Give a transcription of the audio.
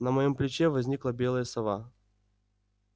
на моём плече возникла белая сова